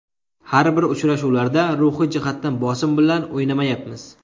Har bir uchrashuvlarda ruhiy jihatdan bosim bilan o‘ynamayapmiz.